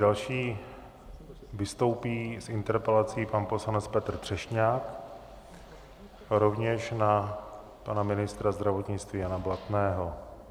Další vystoupí s interpelací pan poslanec Petr Třešňák, rovněž na pana ministra zdravotnictví Jana Blatného.